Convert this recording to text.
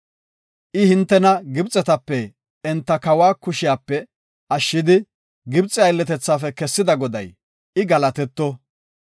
I, “Hintena Gibxetape enta kawa kushiyape ashshidi, Gibxe aylletethaafe kessida Goday, I galatetto.